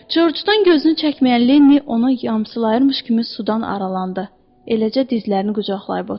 Corcdan gözünü çəkməyən Lenni ona yamsılayırmış kimi sudan aralandı, eləcə dizlərini qucaqlayıb oturdu.